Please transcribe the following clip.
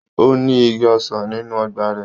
Ó ní igi ọsàn nínú ọgbà rẹ̀.